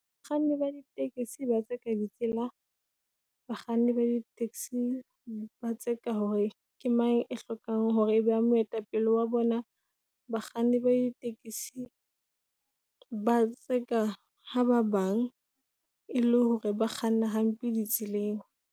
Bakganni ba di-taxi ba tseka ditsela. Bakganni ba di-taxi, ba tseka hore ke mang e hlokang hore e be moetapele wa bona. Bakganni ba di-taxi , ba tseka ha ba bang e le hore ba kganna hampe di tseleng.